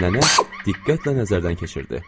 Nənə diqqətlə nəzərdən keçirdi.